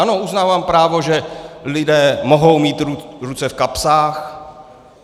Ano, uznávám právo, že lidé mohou mít ruce v kapsách.